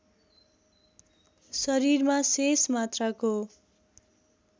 शरीरमा शेष मात्राको